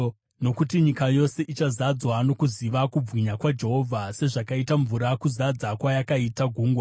Nokuti nyika yose ichazadzwa nokuziva kubwinya kwaJehovha, sezvakaita mvura kuzadza kwayakaita gungwa.